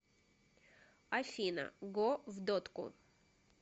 афина го в дотку